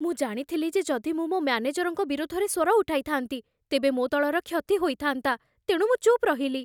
ମୁଁ ଜାଣିଥିଲି ଯେ ଯଦି ମୁଁ ମୋ ମ୍ୟାନେଜରଙ୍କ ବିରୋଧରେ ସ୍ୱର ଉଠାଇଥାନ୍ତି, ତେବେ ମୋ ଦଳର କ୍ଷତି ହୋଇଥାନ୍ତା, ତେଣୁ ମୁଁ ଚୁପ୍ ରହିଲି।